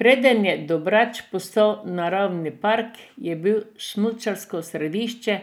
Preden je Dobrač postal naravni park, je bil smučarsko središče,